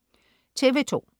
TV2: